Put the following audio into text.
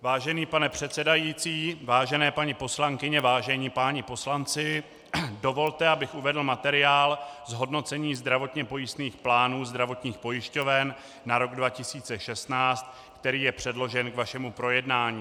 Vážený pane předsedající, vážené paní poslankyně, vážení páni poslanci, dovolte, abych uvedl materiál zhodnocení zdravotně pojistných plánů zdravotních pojišťoven na rok 2016, který je předložen k vašemu projednání.